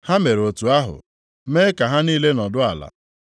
Ha mere otu ahụ, mee ka ha niile nọdụ ala.